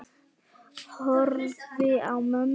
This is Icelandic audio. Horfi á mömmu.